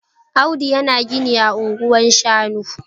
Audu yana gini ah anguwan shanu